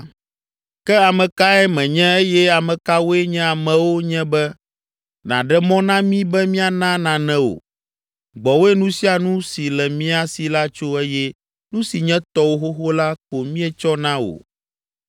“Ke ame kae menye eye ame kawoe nye amewo nye be nàɖe mɔ na mí be míana nane wò? Gbɔwòe nu sia nu si le mía si la tso eye nu si nye tɔwò xoxo la ko míetsɔ na wò!